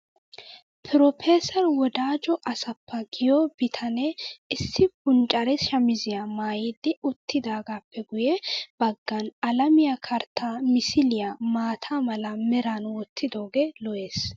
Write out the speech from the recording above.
Pirofeeser wodajo asafa giyo bitanee issi punccare shamiziya maayidi uttidaagaappe guyye baggan alamiya karttaa misiliya maata mala meran wottidooge lo'es.